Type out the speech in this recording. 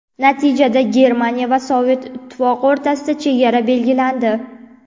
Natijada Germaniya va Sovet Ittifoqi o‘rtasida chegara belgilandi.